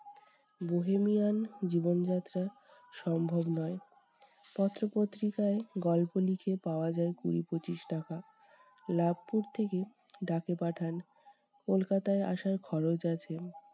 Bohemian জীবনযাত্রা সম্ভব নয়। পত্র-পত্রিকায় গল্প লিখে পাওয়া যায় কুঁড়ি-পঁচিশ টাকা, লাবপুর থেকে ডাকে পাঠান, কলকাতায় আসার খরচ আছে।